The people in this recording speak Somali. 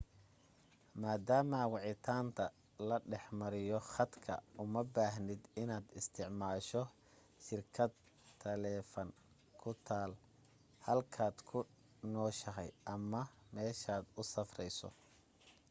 maadaama wicitaanda la dhex mariyo khadka uma baahnid inaad isticmaasho shirkad taleefan ku taal halkaad ku nooshahay ama meeshaad u safrayso